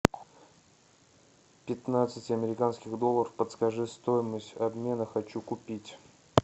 пятнадцать американских долларов подскажи стоимость обмена хочу купить